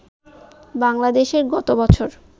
বাংলাদেশে গতবছর